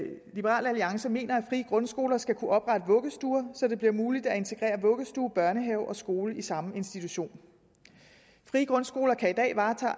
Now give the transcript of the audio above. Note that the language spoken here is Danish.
liberal alliance mener at frie grundskoler skal kunne oprette vuggestuer så det bliver muligt at integrere vuggestue børnehave og skole i samme institution frie grundskoler kan i dag varetage